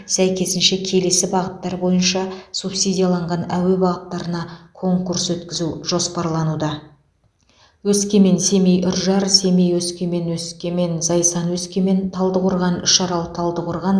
сәйкесінше келесі бағыттар бойынша субсидияланған әуе бағыттарына конкурс өткізу жоспарлануда өскемен семей үржар семей өскемен өскемен зайсан өскемен талдықорған үшарал талдықорған